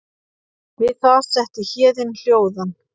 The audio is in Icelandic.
Við það setti Héðin hljóðan.